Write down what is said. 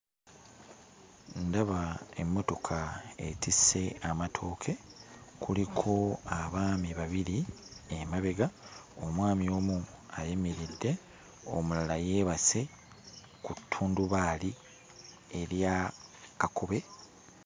Ndaba emmotoka etisse amatooke, kuliko abaami babiri emabega, omwami omu ayimiridde omulala yeebase ku ttundubaali erya kakobe